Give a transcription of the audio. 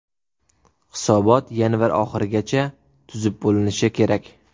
Hisobot yanvar oxirigacha tuzib bo‘linishi kerak.